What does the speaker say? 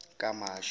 kamashi